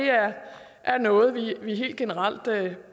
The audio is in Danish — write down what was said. er noget vi helt generelt